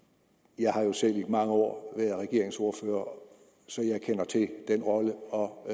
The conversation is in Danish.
jeg har jo selv i mange år været regeringsordfører så jeg kender til den rolle og